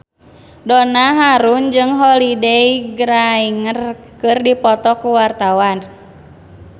Donna Harun jeung Holliday Grainger keur dipoto ku wartawan